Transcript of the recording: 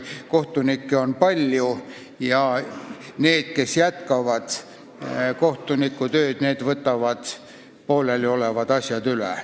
Kohtunikke on palju ja need, kes jätkavad kohtunikutööd, võtavad pooleliolevad asjad üle.